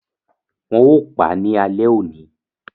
Wọn ò pa ní ale òní